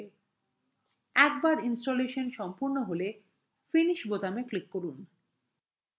একবার ইনস্টল সম্পন্ন হলে finish click করুন